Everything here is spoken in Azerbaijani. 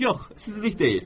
Yox, sizlik deyil.